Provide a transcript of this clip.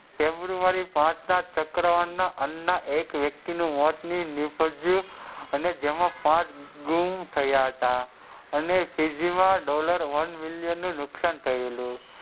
ફેબ્રુઆરી પાંચ ના ચકવાત ના અન એક વય્ક્તિ નું મોત નીપજું અને જેમાં પાંચ ગુમ થયા હતા અને તેજી માં dollar one મિલિયન નું નુકસાન થયેલું.